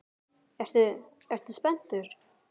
Ertu, ertu spenntur?